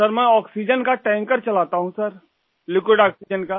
sir मैं oxygen का tanker चलाता हूँ सर लिक्विड आक्सीजेन का